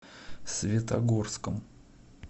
светогорском